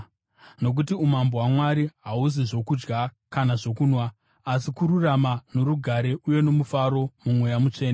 Nokuti umambo hwaMwari hahuzi zvokudya kana zvokunwa, asi kururama norugare uye nomufaro muMweya Mutsvene,